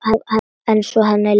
Það er svona henni líkt.